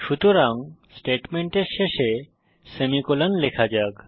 সুতরাং স্টেটমেন্টের শেষে সেমিকোলন লেখা যাক